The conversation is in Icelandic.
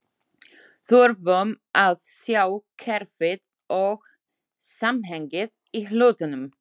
Þurfum að sjá kerfið og samhengið í hlutunum.